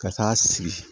Ka taa sigi